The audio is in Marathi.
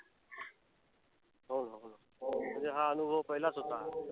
हो हो. हो ना हो. म्हणजे हा अनुभव पहिलाच होता.